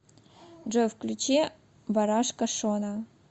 джой включи барашка шона